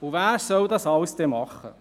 Und wer soll das alles am Ende machen?